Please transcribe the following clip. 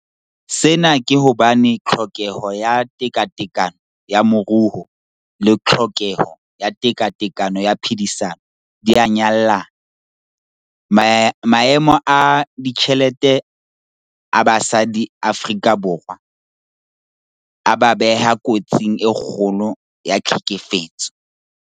Sena ke hobane tlhokeho ya tekatekano ya moruo le tlhokeho ya tekatekano ya phedisano di a nyallana. Maemo a ditjhelete a basadi Afrika Borwa a ba beha kotsing e kgolokgolo ya tlhekefetso.